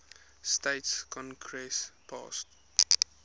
states congress passed